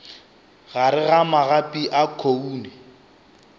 gare ga magapi a khoune